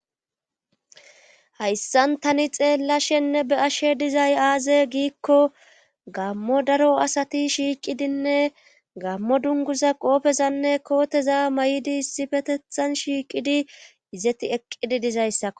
hayssan tani xeella shenne be ashe dizay aaze giikko gammo daro asati shiiqidinne gammo dunguza qoopezanne kooteza may7idi issi fetethan shiiqidi izeti eqqidi dizayssa